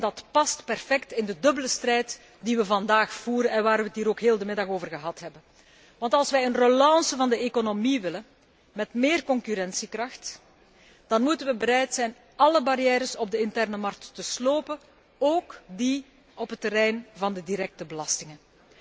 dat past perfect in de dubbele strijd die wij vandaag voeren en waar wij het ook de hele middag over hebben gehad. Want als wij een relance van de economie willen, met méér concurrentiekracht, dan moeten wij bereid zijn alle barrières op de interne markt te slopen, ook die op het terrein van de directe belastingen.